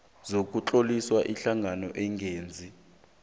sokutlolisa ihlangano engenzi